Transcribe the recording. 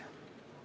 Henn Põlluaas.